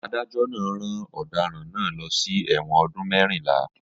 Adájó̩ náà rán ò̩daràn náà lo̩ sí è̩wò̩n o̩dún mé̩rìnlá